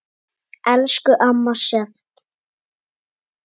Elsku amma Sjöfn.